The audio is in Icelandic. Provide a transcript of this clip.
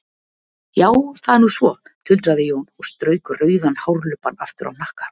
Já, það er nú svo, tuldraði Jón og strauk rauðan hárlubbann aftur á hnakka.